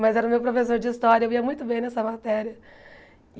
Mas era o meu professor de história, eu ia muito bem nessa matéria.